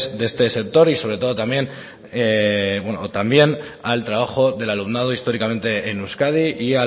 de este sector y sobre todo también o también al trabajo del alumnado históricamente en euskadi y